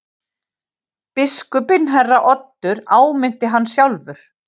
Biskupinn herra Oddur áminnti hann sjálfur.